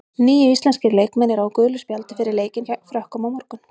Níu íslenskir leikmenn eru á gulu spjaldi fyrir leikinn gegn Frökkum á morgun.